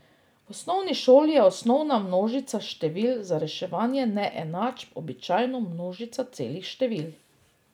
V osnovni šoli je osnovna množica števil za reševanje neenačb običajno množica celih števil.